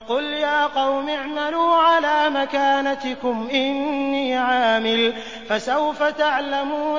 قُلْ يَا قَوْمِ اعْمَلُوا عَلَىٰ مَكَانَتِكُمْ إِنِّي عَامِلٌ ۖ فَسَوْفَ تَعْلَمُونَ